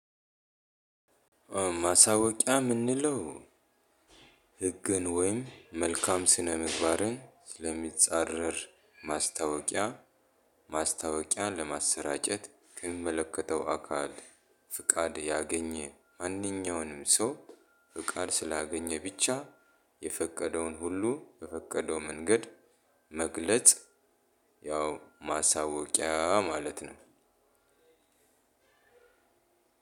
ማሳወቂያ ምንለው ህግን ወይንም መልካም ስነ ምግባርን የሚፃረር ማስታወቂያ። ማስታወቂያን ለማሰራጨት ከሚመለከተው አካል ፍቃድ ያገኘ ማንኛውንም ሰው ፍቃድ ስላገኘ ብቻ የፈቀደውን ሁሉ በፈቀደው መንገድ መግለጽ። ያው ማሳወቂያ ማለት ነው።